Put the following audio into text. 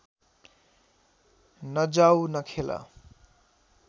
नजाऊ नखेल